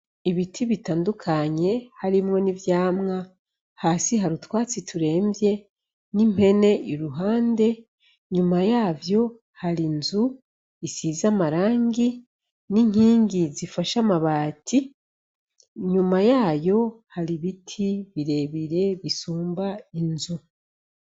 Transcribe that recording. Ibiti bitandukanye harimwo n'ivyamwa hasi hari utwatsi turemvye n'impene iruhande inyuma yavyo hari inzu isize amarangi n'inkingi zifashe amabati inyuma yayo hari ibiti birerebire bisumba inzu.